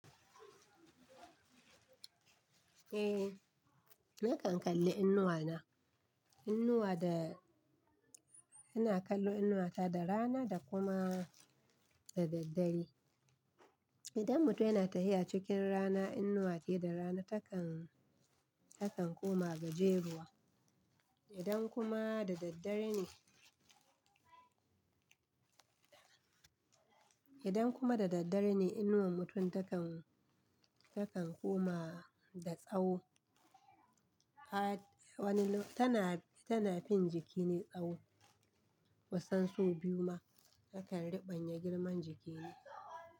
Eh, nakan kalli inuwa na. Inuwa da ina kallo inuwa ta da rana da kuma da daddare. Idan mutum yana tahiha cikin rana, inuwa ce da rana takan, takan koma gajeruwa. Idan kuma da daddare ne, idan kuma da daddare ne, inuwar mutum takan, takan koma da tsawo. A wani lokuta tana, tana fin jiki ne tsawo. Kusan so biyu ma takan ribanye girman jiki ne.